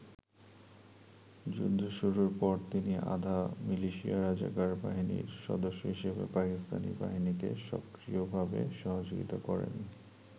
যুদ্ধ শুরুর পর তিনি আধা মিলিশিয়া রাজাকার বাহিনীর সদস্য হিসেবে পাকিস্তানী বাহিনীকে সক্রিয়ভাবে সহযোগিতা করেন।